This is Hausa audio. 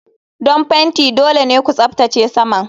Don fenti dole ne ku tsaftace saman.